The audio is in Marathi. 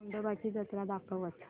खंडोबा ची जत्रा दाखवच